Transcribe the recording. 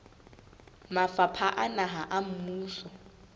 mafapha a naha a mmuso